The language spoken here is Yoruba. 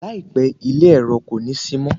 Láìpẹ́, ilé èro kò ní sí mọ́.